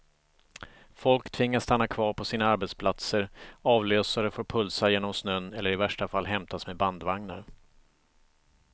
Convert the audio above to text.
Folk tvingas stanna kvar på sina arbetsplatser, avlösare får pulsa genom snön eller i värsta fall hämtas med bandvagnar.